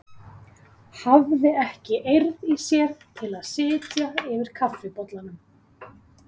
Hafði ekki eirð í sér til að sitja yfir kaffibollanum.